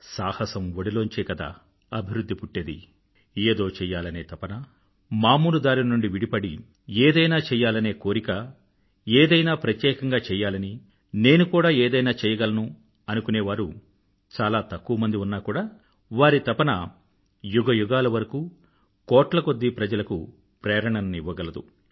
సాహసం ఒడిలోంచే కదా అభివృధ్ధి పుట్టేది ఏదో చెయ్యాలనే తపన మామూలు దారి నుండి విడిపడి ఏదైనా చెయ్యలనే కోరిక ఏదైనా ప్రత్యేకంగా చెయ్యాలని నేను కూడా ఏదైనా చెయ్యగలను అనుకునే వారు చాలా తక్కువమంది ఉన్నా కూడా వారి తపన యుగయుగాల వరకూ కోట్లకొద్దీ ప్రజలకు ప్రేరణని ఇవ్వగలదు